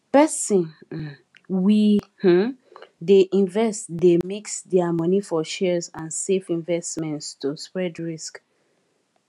person um we um dey invest dey mix their money for shares and safe investments to spread risk